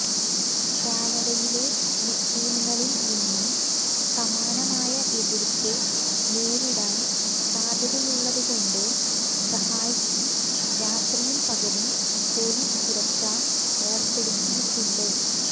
കാനഡയിലെ മുസ്ലീങ്ങളിൽനിന്നും സമാനമായ എതിർപ്പ് നേരിടാൻ സാധ്യതയുള്ളതുകൊണ്ട് റഹായ്ക്ക് രാത്രിയും പകലും പൊലീസ് സുരക്ഷ ഏർപ്പെടുത്തിയിട്ടുണ്ട്